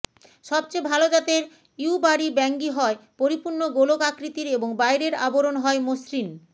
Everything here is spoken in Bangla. সবচেয়ে ভালো জাতের ইয়ুবারি বাঙ্গি হয় পরিপূর্ণ গোলক আকৃতির এবং বাইরের আবরণ হয় মসৃণ